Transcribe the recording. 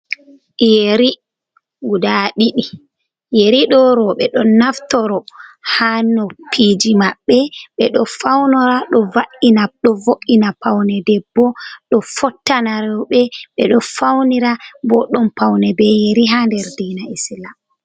Yeri guda ɗiɗi, yeri ɗo roɓe ɗo naftoro ha nopiji maɓɓe, ɓeɗo faunora ɗo vo’ina ɗovo'ina paune ɗebbo, ɗo fottana reube ɓedo faunira bo ɗon paune be yeri ha ɗer dina Islam.